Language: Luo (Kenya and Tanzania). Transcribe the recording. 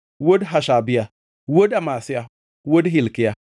wuod Hashabia, wuod Amazia, wuod Hilkia,